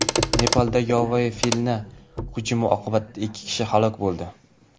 Nepalda yovvoyi filning hujumi oqibatida ikki kishi halok bo‘ldi.